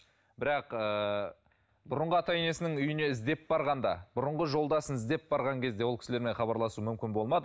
бірақ ыыы бұрынғы ата енесінің үйіне іздеп барғанда бұрынғы жолдасын іздеп барған кезде ол кісілермен хабарласу мүмкін болмады